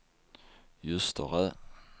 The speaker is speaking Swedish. Ljusterö